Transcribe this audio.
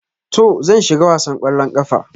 To, zan shiga wasan kwallon kafa.